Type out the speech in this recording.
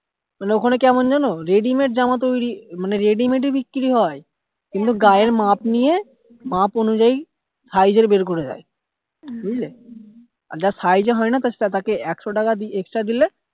মানে ওখানে কেমন জানো ready made জামা তৈরী মানে ready made ও বিক্রি হয় কিন্তু গায়ের মাপ নিয়ে মাপ অনুযায়ী size এর বের করে দেয় বুঝলে আর যার size এ হয় না তাকে একশো টাকা extra দিলে